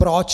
Proč?